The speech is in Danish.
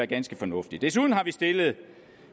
ganske fornuftigt desuden har vi stillet